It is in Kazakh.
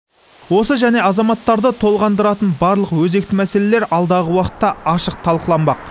осы және азаматтарды толғандыратын барлық өзекті мәселелер алдағы уақытта ашық талқыланбақ